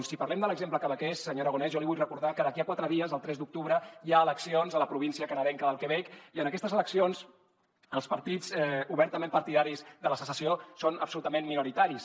si parlem de l’exemple quebequès senyor aragonès jo li vull recordar que d’aquí a quatre dies el tres d’octubre hi ha eleccions a la província canadenca del quebec i en aquestes eleccions els partits obertament partidaris de la secessió són absolutament minoritaris